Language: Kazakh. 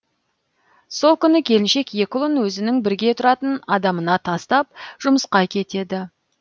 сол күні келіншек екі ұлын өзінің бірге тұратын адамына тастап жұмысқа кетеді